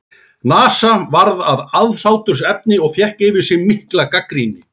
NASA varð að aðhlátursefni og fékk yfir sig mikla gagnrýni.